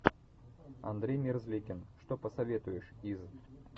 андрей мерзликин что посоветуешь из